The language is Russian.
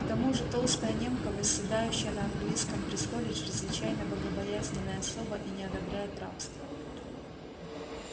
к тому же толстая немка восседающая на английском престоле чрезвычайно богобоязненная особа и не одобряет рабства